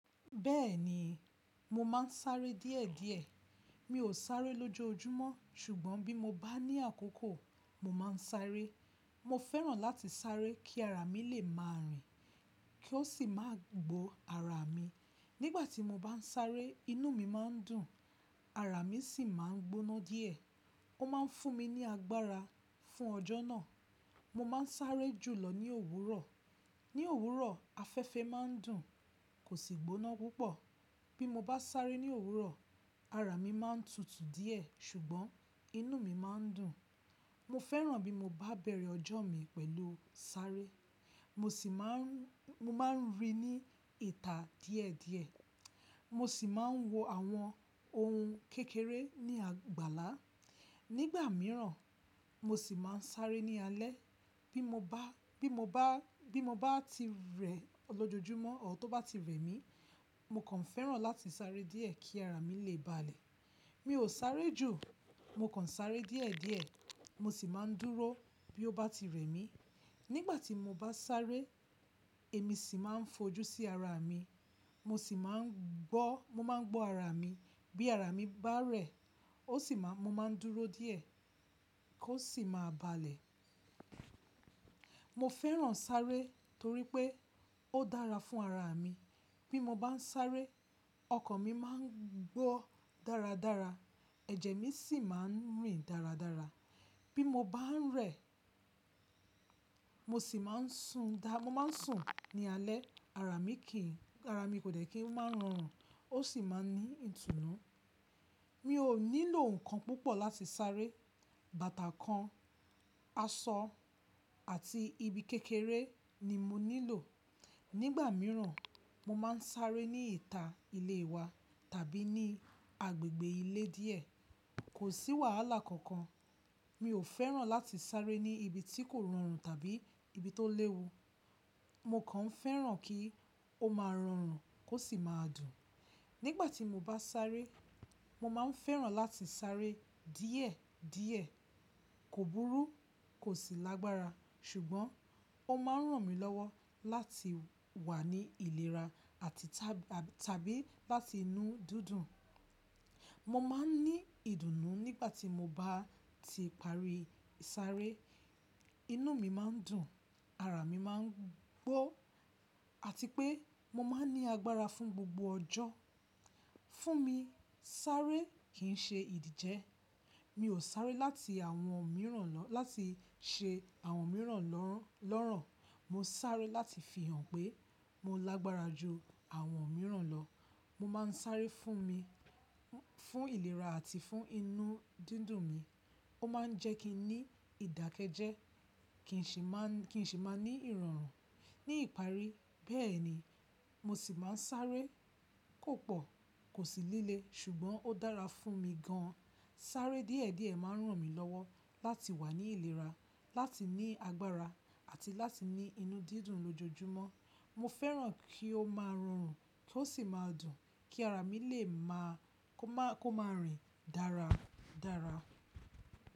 Bẹ́ẹ̀ni, mo máa ń sáré díẹ̀díẹ̀. Mi ò sáré lójoojúmọ́ ṣùgbọ́n bí mo bá ní àkókò, mo máa ń sáré. Mo fẹ́ràn láti sáré kí ara mi lè máa rìn, kí ó sì máa gbó ara mi. Nígbà tí mo bá ń sáré, inú mi máa ń dùn, ara mi sì máa ń gbóná díẹ̀. Ó máa ń fún mi ní agbára fún ọjọ́ náà. Mo máa ń sáré jùlọ ní òwúrọ̀. Ní òwúrọ̀ afẹ́fẹ́ máa ń dùn, kò sì gbóná púpọ̀. Bí mo bá sáré ní òwúrọ̀, ara mi máa ń tutù díẹ̀ ṣùgbọ́n inú mi máa ń dùn. Mo fẹ́ràn bí mo bá bẹ̀rẹ̀ ọjọ́ mi pẹ̀lú sáré. Mo sì máa ń, mo máa ń rí ní ìta díẹ̀díẹ̀. Mo sì máa ń wò àwọn ohun kékeré ní àgbàlá. Nígbà míràn mo sì máa ń sáré ní alẹ́. Bí mo bá, bí mo bá, bí mo bá ti rẹ lójoojúmọ́, ọ̀ tó bá ti rẹ mí, mo kàn fẹ́ràn láti sáré díẹ̀ kí ara mi lè balẹ̀. Mi ò sáré jù, mo kàn sáré díẹ̀díẹ̀. Mo sì máa ń dúró bí ó bá ti rẹ mí. Nígbà tí mo bá sáré, èmi sì máa ń fojú sí ara mi. Mo sì máa ń gbọ́, mo máa ń gbó ara mi. Bí ara mi bá rẹ̀, ó sì máa, mo máa ń dúró díẹ̀ kí ó sì máa balẹ̀. Mo fẹ́ràn sáré torí pé ó dára fún ara mi. Bí mo bá ń sáré, ọkàn mi máa ń gbọ́ dáradára. Ẹ̀jẹ̀ mi sì máa ń rìn dáradára. Bí mo bá ń rẹ̀, mo sì máa ń sun dá, mo máa ń sùn ní alẹ́. Ara mi kì í, ara mi kò dè kí n máa ń rọrùn ó sì máa ń ní ìtùnnú. Mi ò nílò nǹkan púpọ̀ láti sáré. Bàtà kan, aṣọ àti ibi kékeré ni mo nílò. Nígbà míràn mo máa ń sáré ní ìta ilé wa tàbí ní agbègbè ilé díẹ̀. Kò sí wàhálà kankan. Mi ò fẹ́ràn láti sáré ní ibi tí kò rọrùn tàbí ibi tó léwu. Mo kàn fẹ́ràn kí ó máa rọrùn kó sì máa dùn. Nígbà tí mo bá sáré, mo máa ń fẹ́ràn láti sáré díẹ̀díẹ̀. Kò búrú, kò sì lágbára ṣùgbọ́n ó máa ń ràn mí lọ́wọ́ láti wà ní ìlera àti ta, tàbí láti ní inú dídùn. Mo máa ń ní ìdùnnú nígbà tí mo bá ti parí sáré. Inú mi máa ń dùn, ara mi máa ń gbó àti pé mo máa ń ní agbára fún gbogbo ọjọ́. Fún mi sáré kì ń ṣe ìdíje. Mi ò sáré láti àwọn mìíràn lọ, láti ṣe àwọn mìíràn lọ́ràn lọ́ràn. Mo sáré láti fihàn pé mo lágbára ju àwọn mìíràn lọ. Mo máa ń sáré fún mi, fún ìlera àti fún inú dídùn mi. Ó máa ń jẹ́ kí n ní ìdákẹ́jẹ́ kì ń sì máa ń, kì ń sì máa ń ní ìrọ̀rùn. Ní ìparí bẹ́ẹ̀ ni. Mo sì máa ń sáré kò pọ̀, kò sì líle ṣùgbọ́n ó dára fún mi gan. Sáré díẹ̀díẹ̀ máa ń ràn mí lọ́wọ́ láti wà ní ìlera, láti ní agbára àti láti ní inú dídùn lójoojúmọ́. Mo fẹ́ràn kí ó máa rọrùn kó sì máa dùn kí ara mi lè máa, kó má, kó má rìn dára dára.